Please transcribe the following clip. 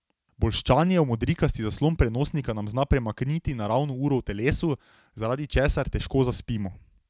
Bolščanje v modrikasti zaslon prenosnika nam zna premakniti naravno uro v telesu, zaradi česar težko zaspimo.